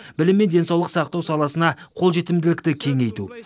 білім мен денсаулық сақтау саласына қолжетімділікті кеңейту